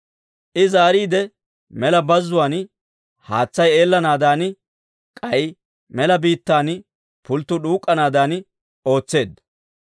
I zaariide mela bazzuwaan haatsay eellanaadan, k'ay mela biittan pulttuu d'uuk'k'anaadan ootseedda.